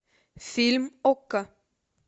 фильм окко